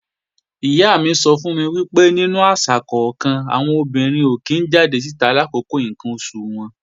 Ìyá mi sọ fún mi pé nínú àṣà kọ́kan, àwọn obìnrin ò kí ń jáde síta làkókò ǹkan oṣù wọn